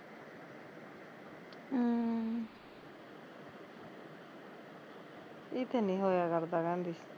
ਈਤੇ ਨੀ ਹੋਇਆ ਕਰਦਾ ਕਹਿੰਦੀ